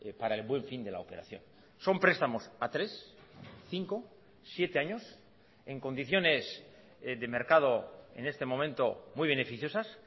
para el buen fin de la operación son prestamos a tres cinco siete años en condiciones de mercado en este momento muy beneficiosas